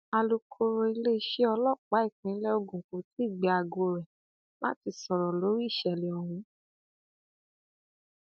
alūkrọ iléeṣẹ ọlọpàá ìpínlẹ ogun kò tí ì gbé aago rẹ láti sọrọ lórí ìṣẹlẹ ọhún